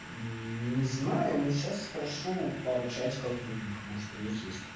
не знаю но сейчас спрошу в пару чатиков других может у них есть